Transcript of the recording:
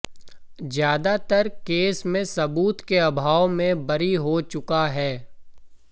ज्यादातर केस में सबूत के अभाव में बरी हो चुका है